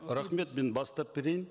рахмет мен бастап берейін